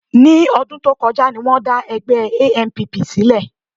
Ní ọdún tó kọjá ni wọ́n dá ẹgbẹ́ ANPP sílẹ̀